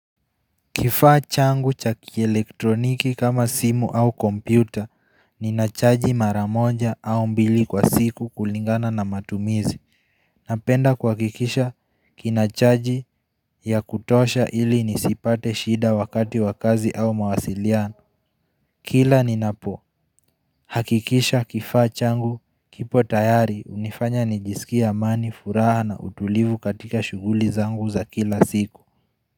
Kifaa changu cha kielektroniki kama simu au kompyuta ninachaji maramoja au mbili kwa siku kulingana na matumizi Napenda kuhakikisha kinachaji ya kutosha ili nisipate shida wakati wa kazi au mawasiliano Kila ninapo hakikisha kifaa changu kipo tayari unifanya nijisikie amani furaha na utulivu katika shughuli zangu za kila siku.